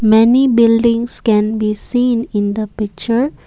many buildings can be seen in the picture.